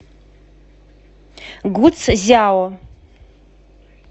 гуцзяо